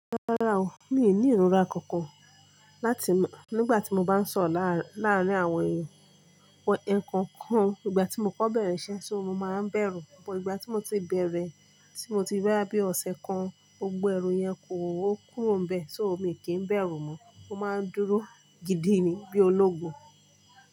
Rárá o, mi ò ní ìrora kankan láti, nígbà tí mo bá ń sọ̀ro láàárín àwọn èèyàn. Ẹkookan, ìgbà tí mo kò bẹ̀rẹ̀ iṣẹ́ ṣó, mo máa ń bẹ̀rù, but ìgbà tí mo ti bẹ̀rẹ̀, tí mo ti rí boya bí ọ̀sẹ̀ kan, gbogbo ẹrù yẹn o kúrò nbè, ṣó mi i kì n bẹ̀rù mọ́, mo máa ń dúró gidi ni bí ológun.